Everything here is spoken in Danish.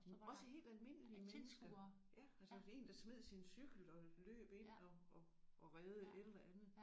Også helt almindelige mennesker altså én der smed sin cykel og løb ind og og og reddede et eller andet